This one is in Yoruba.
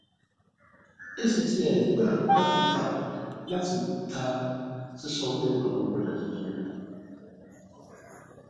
actis gbà láti ta gbà láti ta sisanwo awọn ọja tuntun